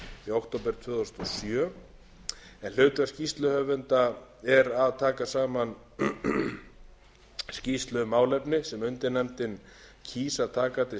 október tvö þúsund og sjö hlutverk skýrsluhöfunda er að taka saman skýrslu um málefni sem undirnefndin kýs að taka til